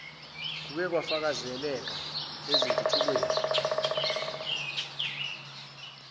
kuke kwafakazeleka ezintuthukweni